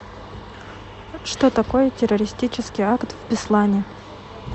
что такое террористический акт в беслане